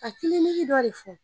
Ka dɔ de fɔ